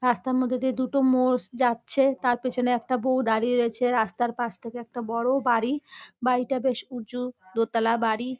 রাস্তার মধ্যে দিয়ে দুটো মোষ যাচ্ছে। তার পেছনে একটা বউ দাঁড়িয়ে রয়েছে রাস্তার পাশ থেকে একটা বড়ো বাড়ি বাড়িটা বেশ উঁচু দোতলা বাড়ি।